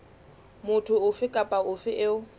motho ofe kapa ofe eo